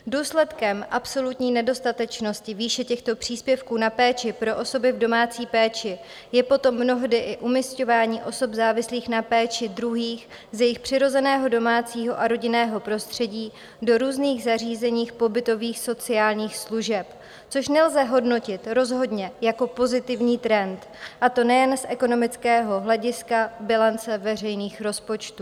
Důsledkem absolutní nedostatečnosti výše těchto příspěvků na péči pro osoby v domácí péči je potom mnohdy i umisťování osob závislých na péči druhých z jejich přirozeného domácího a rodinného prostředí do různých zařízení pobytových sociálních služeb, což nelze hodnotit rozhodně jako pozitivní trend, a to nejen z ekonomického hlediska bilance veřejných rozpočtů.